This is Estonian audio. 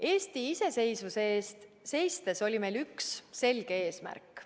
Eesti iseseisvuse eest seistes oli meil üks selge eesmärk.